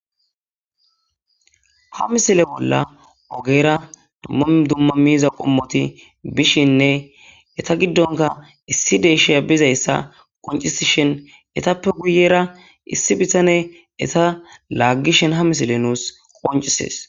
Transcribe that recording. ha misile bolla ogera dumma dumma miiza qommoti bishinne eta giddonka issi deesheya bizayssa qoncisishen etappe guyera issi bitane eta laaggishen ha misile nuus qoncisees.